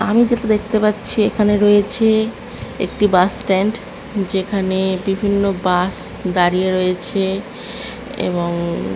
আমি যেটা দেখতে পাচ্ছি এখানে রয়েছে একটি বাসস্ট্যান্ড যেখানে বিভিন্ন বাস দাঁড়িয়ে রয়েছে এবং ।